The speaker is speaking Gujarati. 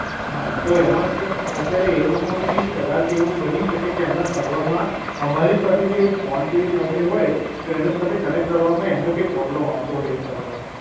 હા, તો એમાં અત્યારે એ લોકોને બી કદાચ એવું બની શકે કે એમના સર્વરમાં અમારી સાથે જે ફોન પે સાથે હોય તો એને સાથે કનેક્ટ કરવામાં એમને કઈ પ્રોબ્લેમ આવતો હોય એ સર્વરમાં.